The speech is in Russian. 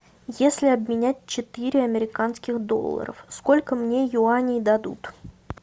если обменять четыре американских долларов сколько мне юаней дадут